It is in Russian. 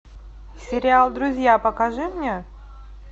сериал друзья покажи мне